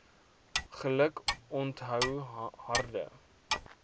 geluk onthou harde